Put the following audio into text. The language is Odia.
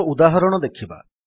ଏକ ଉଦାହରଣ ଦେଖିବା